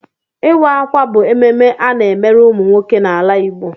Ịwa ákwà bụ ememme ana-emere ụmụ nwoke n'ala Igbo.